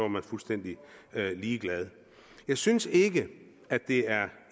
man fuldstændig ligeglad jeg synes ikke at det er